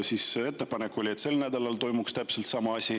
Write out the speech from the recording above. Siis oli ettepanek, et sel nädalal toimuks täpselt sama asi.